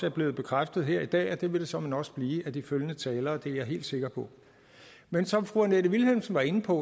er blevet bekræftet her i dag og det vil det såmænd også blive af de følgende talere det er jeg helt sikker på men som fru annette vilhelmsen var inde på